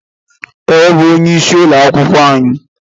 Ee, o bú onye ịsị ụlọ akwụkwọ anyị